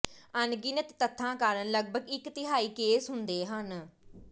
ਅਣਗਿਣਤ ਤੱਥਾਂ ਕਾਰਨ ਲਗਪਗ ਇਕ ਤਿਹਾਈ ਕੇਸ ਹੁੰਦੇ ਹਨ